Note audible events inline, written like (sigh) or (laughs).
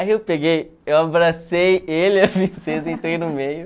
Aí eu peguei, eu abracei ele, (laughs) a princesa, entrei no meio.